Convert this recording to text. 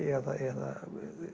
eða